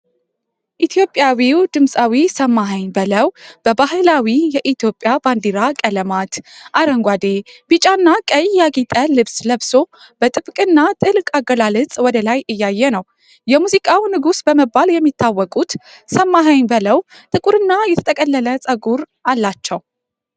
ኢትዮጵያዊው ድምፃዊ ሰማሀኝ በለዉ በባህላዊ የኢትዮጵያ ባንዲራ ቀለማት (አረንጓዴ፣ ቢጫና ቀይ) ያጌጠ ልብስ ለብሶ፤ በጥብቅና ጥልቅ አገላለጽ ወደ ላይ እያየ ነው፡፡ የሙዚቃው ንጉሥ በመባል የሚታወቁት ሰማሀኝ በለዉ ጥቁርና የተጠቀለለ ፀጉር አላቸው፡